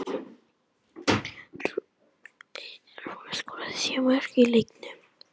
Rúnar skoraði þrjú mörk í leiknum